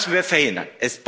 Das müssen wir verhindern!